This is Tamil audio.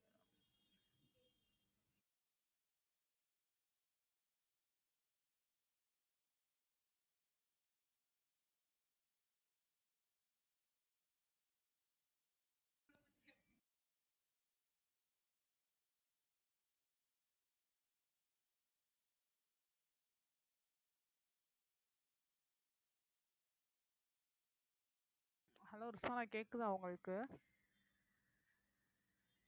hello ரிஸ்வானா கேக்குதா உங்களுக்கு